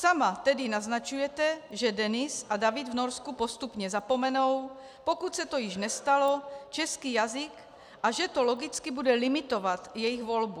Sama tedy naznačujete, že Denis a David v Norsku postupně zapomenou, pokud se to již nestalo, český jazyk, a že to logicky bude limitovat jejich volbu.